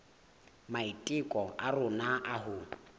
maiteko a rona a ho